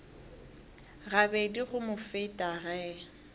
gabedi go mo feta ge